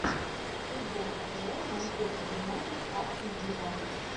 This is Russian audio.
футбол апл манчестер юнайтед астон вилла